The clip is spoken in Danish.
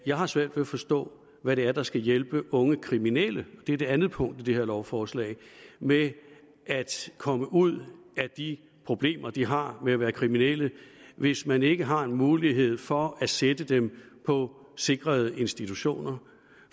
jeg har svært ved at forstå hvad det er der skal hjælpe unge kriminelle og det er det andet punkt i det her lovforslag med at komme ud af de problemer de har ved at være kriminelle hvis man ikke har en mulighed for at sætte dem på sikrede institutioner